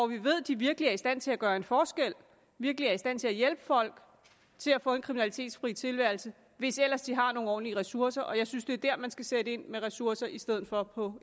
vi ved de virkelig er i stand til at gøre en forskel og virkelig er i stand til at hjælpe folk til at få en kriminalitetsfri tilværelse hvis ellers de har nogle ordentlige ressourcer og jeg synes det er der man skal sætte ind med ressourcer i stedet for på